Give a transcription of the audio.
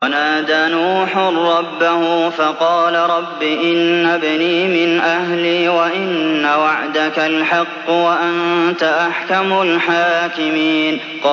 وَنَادَىٰ نُوحٌ رَّبَّهُ فَقَالَ رَبِّ إِنَّ ابْنِي مِنْ أَهْلِي وَإِنَّ وَعْدَكَ الْحَقُّ وَأَنتَ أَحْكَمُ الْحَاكِمِينَ